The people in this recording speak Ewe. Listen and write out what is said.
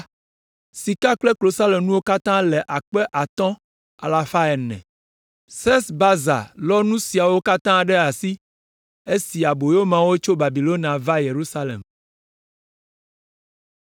Sika kple klosalonuwo katã le akpe atɔ̃ alafa ene (5,400). Sesbazar lɔ nu siawo katã ɖe asi, esi aboyomeawo tso Babilonia va Yerusalem.